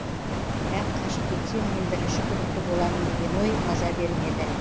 бірақ қашып кетсем мен бірінші күдікті боламын деген ой маза бермеді